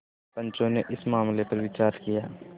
पंचो ने इस मामले पर विचार किया